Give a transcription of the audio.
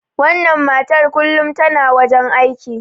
wannan matar kullum tana wajen aiki